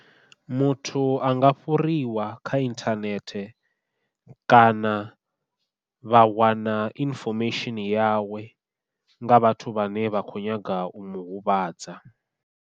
Muthu a nga fhuriwa kha inthanethe kana vha wana inifomesheni yawe nga vhathu vhane vha kho nyaga u muhuvhadza.